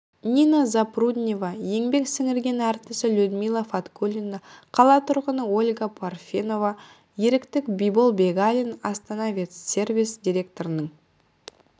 нина запруднева еңбек сіңірген әртісі людмила фаткуллина қала тұрғыны ольга парфенова ерікт бибол бегалин астана-ветсервис директорының